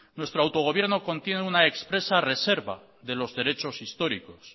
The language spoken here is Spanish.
nuestro autogobierno contiene una expresa reserva de los derechos históricos